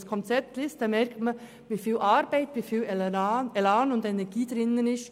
Wenn man das Konzept liest, merkt man, wie viel Arbeit, Elan und Energie darin steckt.